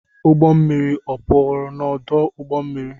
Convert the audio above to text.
Ụgbọ mmiri ọ pụrụ n’ọdụ ụgbọ mmiri?